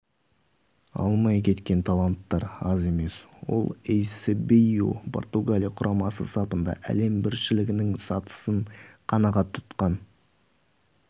алмай кеткен таланттар аз емес ол эйсебио португалия құрамасы сапында әлем біріншілігінің сатысын қанағат тұтқан